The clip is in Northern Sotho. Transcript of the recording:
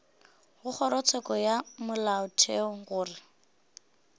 go kgorotsheko ya molaotheo gore